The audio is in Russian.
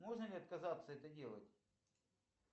можно ли отказаться это делать